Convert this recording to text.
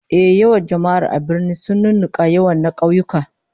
Ehh, yawan jama'ar da ke birni sun nunnunka yawan na kauyuka